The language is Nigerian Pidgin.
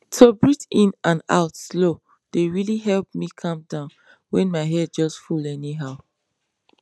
to breathe in and out slow dey really help me calm downwhen my head just full anyhow